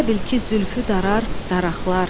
Elə bil ki zülfü darar daraqlar.